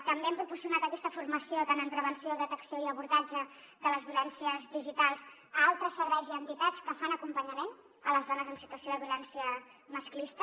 també hem proporcionat aquesta formació en prevenció detecció i abordatge de les violències digitals a altres serveis i entitats que fan acompanyament a les dones en situació de violència masclista